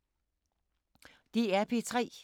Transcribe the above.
DR P3